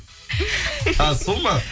ааа сол ма